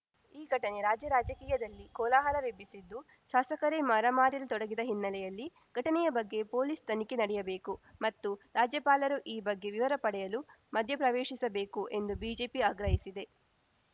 ಈ ಘಟನೆ ರಾಜ್ಯ ರಾಜಕೀಯದಲ್ಲಿ ಕೋಲಾಹಲವೆಬ್ಬಿಸಿದ್ದು ಶಾಸಕರೇ ಮಾರಾಮಾರಿಯಲ್ಲಿ ತೊಡಗಿದ ಹಿನ್ನೆಲೆಯಲ್ಲಿ ಘಟನೆಯ ಬಗ್ಗೆ ಪೊಲೀಸ್‌ ತನಿಖೆ ನಡೆಯಬೇಕು ಮತ್ತು ರಾಜ್ಯಪಾಲರು ಈ ಬಗ್ಗೆ ವಿವರ ಪಡೆಯಲು ಮಧ್ಯಪ್ರವೇಶಿಸಬೇಕು ಎಂದು ಬಿಜೆಪಿ ಆಗ್ರಹಿಸಿದೆ